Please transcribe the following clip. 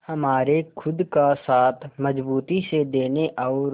हमारे खुद का साथ मजबूती से देने और